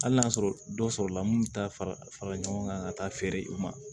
Hali n'a y'a sɔrɔ dɔ sɔrɔ la mun bɛ taa fara fara ɲɔgɔn kan ka taa feere u ma